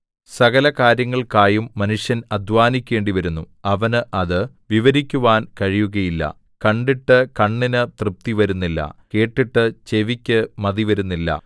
സകലകാര്യങ്ങൾക്കായും മനുഷ്യൻ അധ്വാനിക്കേണ്ടി വരുന്നു അവന് അത് വിവരിക്കുവാൻ കഴിയുകയില്ല കണ്ടിട്ട് കണ്ണിന് തൃപ്തി വരുന്നില്ല കേട്ടിട്ട് ചെവിക്ക് മതിവരുന്നില്ല